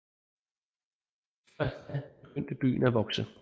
Først da begyndte byen at vokse